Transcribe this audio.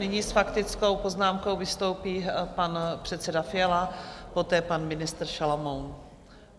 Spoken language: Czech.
Nyní s faktickou poznámkou vystoupí pan předseda Fiala, poté pan ministr Šalomoun.